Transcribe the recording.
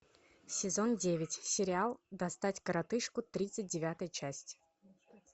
сезон девять сериал достать коротышку тридцать девятая часть